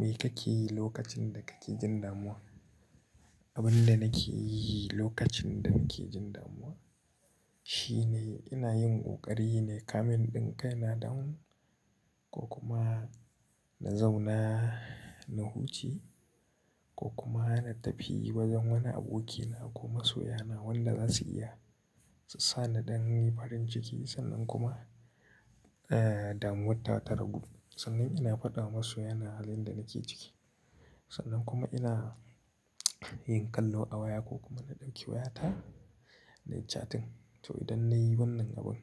Me kake yi lokacin da kake jin damuwa? Abin da nake yi lokacin da nake jin damuwa shine ina yin ƙoƙari nayi calming ɗinka kaina down ko kuma na zauna na huca ko kuma na tafi wajen wani abokina ko masoya na wanda za su iya su sa ni in yi farin ciki. Sannan kuma, eh, damuwatawa ta ragu. Sannan ina faɗa wa masoya na halin da nake ciki. Sannan kuma ina yin kallo a waya ko kuma na ɗauki wayata nayi chatting. To, idan na yi wannan abin